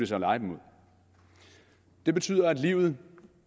så leje dem ud det betyder at livet